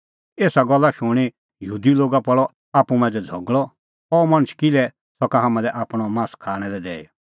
एसा गल्ला शूणीं यहूदी लोगा पल़अ आप्पू मांझ़ै झ़गल़अ अह मणछ किल्है सका हाम्हां लै आपणअ मास खाणां लै दैई